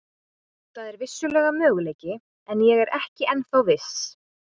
Það er vissulega möguleiki en ég er ekki ennþá viss.